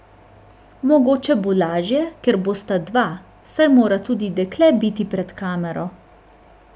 Mogoče bo lažje, ker bosta dva, saj mora tudi dekle biti pred kamero!